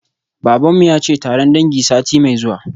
Baban mu yace taron dangi sati mai zuwa